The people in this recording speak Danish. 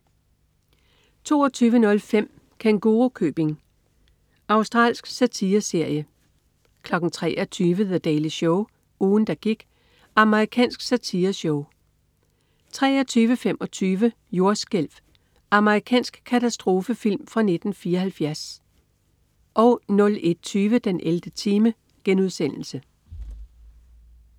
22.05 Kængurukøbing. Australsk satireserie 23.00 The Daily Show. Ugen der gik. Amerikansk satireshow 23.25 Jordskælv. Amerikansk katastrofefilm fra 1974 01.20 den 11. time*